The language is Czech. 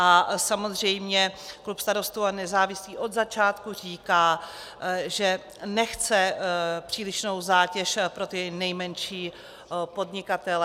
A samozřejmě klub Starostů a nezávislých od začátků říká, že nechce přílišnou zátěž pro ty nejmenší podnikatele.